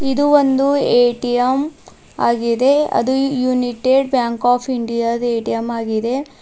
ಇದು ಒಂದು ಎ_ಟಿ_ಎಂ ಆಗಿದೆ ಅದು ಯುನಿಟೆಡ್ ಬ್ಯಾಂಕ್ ಆಫ್ ಇಂಡಿಯಾ ದ ಎ_ಟಿ_ಎಂ ಆಗಿದೆ.